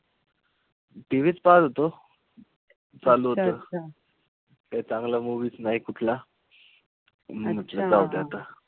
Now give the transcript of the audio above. TV च पाहत होतो. चालू होत. काई चांगल्या movies नाई कुठल्या. , म्हंटल जाऊदे आता.